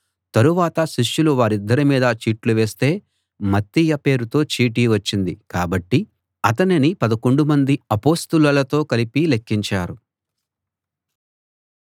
తరువాత శిష్యులు వారిద్దరి మీదా చీట్లు వేస్తే మత్తీయ పేరుతో చీటి వచ్చింది కాబట్టి అతనిని పదకొండుమంది అపొస్తలులతో కలిపి లెక్కించారు